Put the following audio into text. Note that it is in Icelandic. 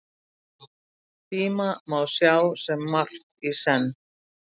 Tíma má sjá sem margt í senn.